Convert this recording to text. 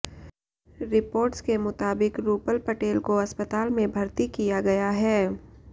reports के मुताबिक रूपल पटेल को अस्पताल में भर्ती किया गया है